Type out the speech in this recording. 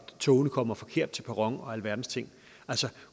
togene kommer forkert til perron og alverdens ting altså